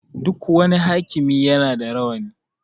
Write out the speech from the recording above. Duk wani hakimi ya na da rawani